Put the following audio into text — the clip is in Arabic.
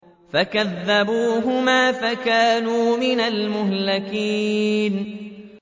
فَكَذَّبُوهُمَا فَكَانُوا مِنَ الْمُهْلَكِينَ